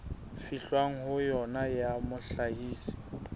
fihlwang ho yona ya mohlahisi